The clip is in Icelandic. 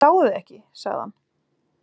Ég sá þig ekki, sagði hann.